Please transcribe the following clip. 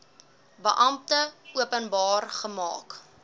beampte openbaar gemaak